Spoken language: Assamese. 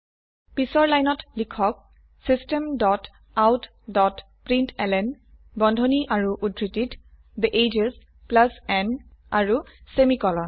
পিছৰ লাইনত লিখক system dot out dot println বন্ধনী আৰু উদ্ধৃতিত থে এজেছ n আৰু সেমিকোলন